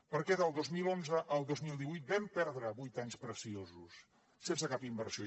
perquè del dos mil onze al dos mil divuit vam perdre vuit anys preciosos sense cap inversió